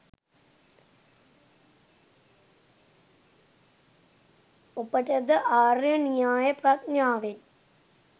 ඔබට ද ආර්ය න්‍යාය ප්‍රඥාවෙන්